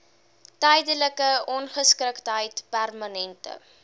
tydelike ongeskiktheid permanente